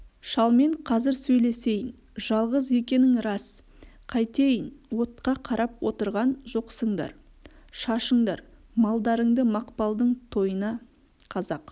шалмен қазір сөйлесейін жалғыз екенің рас қайтейін отқа қарап отырған жоқсыңдар шашыңдар малдарыңды мақпалдың тойына қазақ